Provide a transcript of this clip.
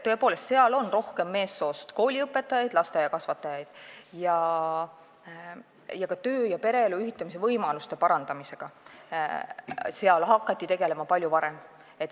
Seal on rohkem meessoost kooliõpetajaid ja lasteaiakasvatajaid ning ka töö- ja pereelu ühitamise võimaluste parandamisega hakati seal tegelema palju varem.